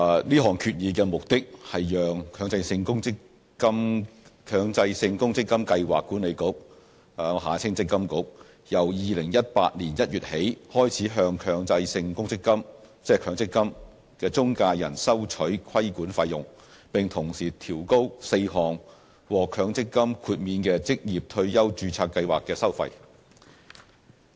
這項議案的目的是讓強制性公積金計劃管理局由2018年1月起開始向強制性公積金中介人收取規管費用，並同時調高4項獲強積金豁免的職業退休註冊計劃的收費。